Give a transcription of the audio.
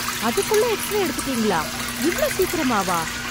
அதுக்குள்ள எக்ஸ்ரே எடுத்துட்டீங்களா, இவ்ளோ சீக்கிரமாவா?